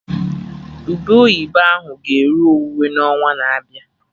Ube oyibo ahụ ga-eru owuwe n'ọnwa na-abịa